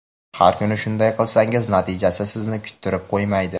Har kuni shunday qilsangiz natijasi sizni kuttirib qo‘ymaydi.